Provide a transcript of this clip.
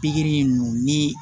Pikiri ninnu ni